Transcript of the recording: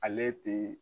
Ale tɛ